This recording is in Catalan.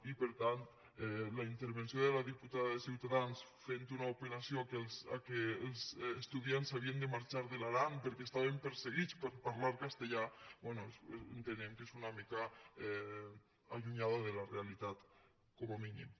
i per tant la intervenció de la diputada de ciutadans fent una apel·tudiants s’havien de marxar de l’aran perquè estaven perseguits per parlar castellà bé entenem que és una mica allunyada de la realitat com a mínim